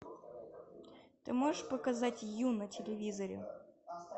ты можешь показать ю на телевизоре